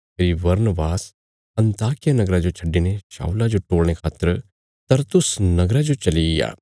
फेरी Barnabas अन्ताकिया नगरा जो छड्डिने शाऊला जो टोलणे खातर तरसुसा नगरा जो चलिग्या